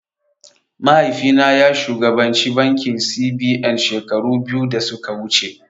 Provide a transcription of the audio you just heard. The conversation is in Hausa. Mahaifi na ya shugabanci bankin C.B.N shekaru biyu da suka wuce